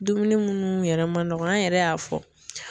Dumuni munnu yɛrɛ ma nɔgɔ an yɛrɛ y'a fɔ.